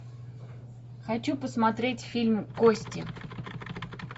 хочу посмотреть фильм кости